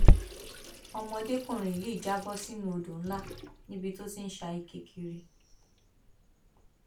ọmọdékùnrin yìí já bọ sínú odò ńlá níbi tó ti ń sá ike kiri